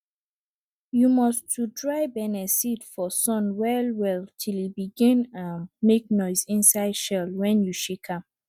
you must to dry benneseed for sun well well till e begin um make noise inside shell wen you shake am